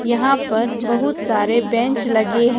यहां पर बहुत सारे बेंच लगे हैं।